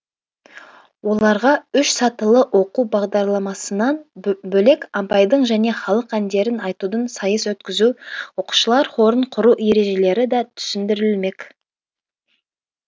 оларға үш сатылы оқу бағдарламасынан бөлек абайдың және халық әндерін айтудан сайыс өткізу оқушылар хорын құру ережелері де түсіндірілмек